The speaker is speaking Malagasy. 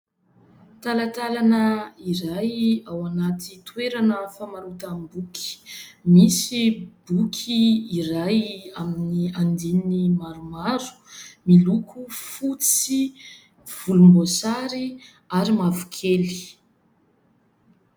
Talantalana iray ao anaty toerana famarotam-boky, misy boky iray amin'ny andininy maromaro miloko fotsy, volombosary ary mavokely.